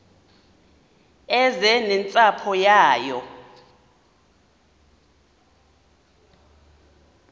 eze nentsapho yayo